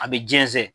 A bɛ jɛnsɛn